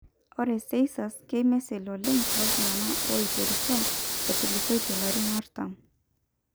ore seizures keimisil oleng' tooltung'anak oiterutua etulusoitie ilarin artam.